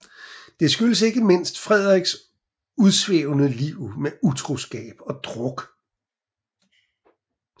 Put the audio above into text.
Det skyldtes ikke mindst Frederiks udsvævende liv med utroskab og druk